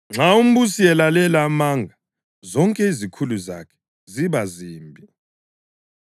Nxa umbusi elalela amanga, zonke izikhulu zakhe ziba zimbi.